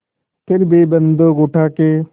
फिर भी बन्दूक उठाके